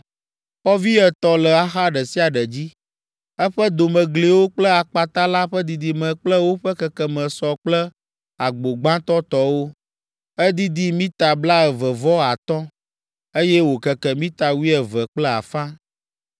Xɔvi etɔ̃ le axa ɖe sia ɖe dzi. Eƒe domegliwo kple akpata la ƒe didime kple woƒe kekeme sɔ kple agbo gbãtɔ tɔwo. Edidi mita blaeve vɔ atɔ̃, eye wòkeke mita wuieve kple afã.